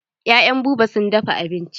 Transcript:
Ya'yan Buba sun dafa abinci.